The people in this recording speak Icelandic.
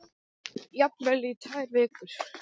Jafnvel í tvær vikur.